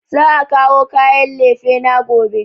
Za a kawo kayan lefena gobe